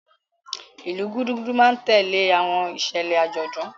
Ilu Gudugudu ma n tẹle awọn iṣẹlẹ ajọdun.